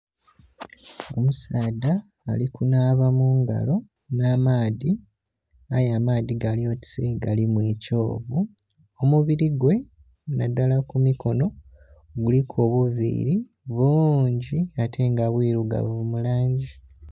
Omusaadha ali kunhaba mungalo nha maadhi aye amaadhi gali otise galimu ekyovu omubili gwe nhaillala ku mukonho guliku obuviri buungi ate nga bwirugavu mulangi.